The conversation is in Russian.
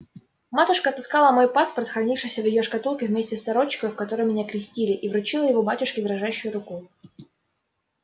матушка отыскала мой паспорт хранившийся в её шкатулке вместе с сорочкою в которой меня крестили и вручила его батюшке дрожащею рукою